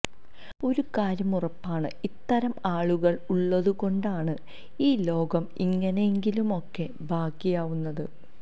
ഒരു കാര്യം ഉറപ്പാണ് ഇത്തരം ആളുകള് ഉള്ളതു കൊണ്ടാണ് ഈ ലോകം ഇങ്ങനെയെങ്കിലുമൊക്കെ ബാക്കിയാവുന്നത്